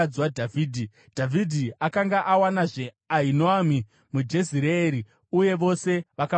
Dhavhidhi akanga awanazve Ahinoami muJezireeri, uye vose vakava vakadzi vake.